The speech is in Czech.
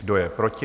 Kdo je proti?